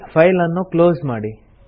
file ಅನ್ನು close ಮಾಡಿ